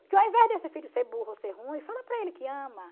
Porque ao invés desse filho ser burro ou ser ruim, fala para ele que ama.